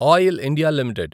oil India limited